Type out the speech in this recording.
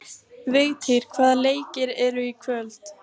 Vigtýr, hvaða leikir eru í kvöld?